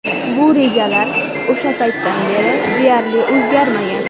Bu rejalar o‘sha paytdan beri deyarli o‘zgarmagan.